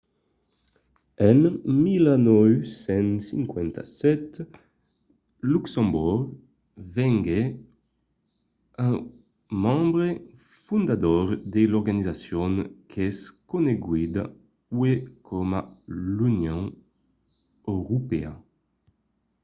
en 1957 luxemborg venguèt un membre fondador de l'organizacion qu'es coneguda uèi coma l'union europèa